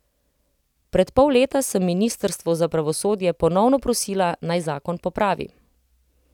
Pred pol leta sem ministrstvo za pravosodje ponovno prosila, naj zakon popravi.